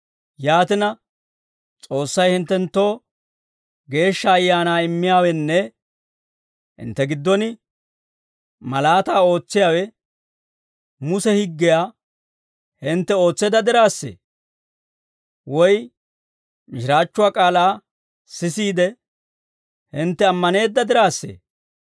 Yaatina, S'oossay hinttenttoo Geeshsha Ayaanaa immiyaawenne hintte giddon malaataa ootsiyaawe, Muse higgiyaa hintte ootseedda diraassee? Woy mishiraachchuwaa k'aalaa sisiide, hintte ammaneedda diraassee?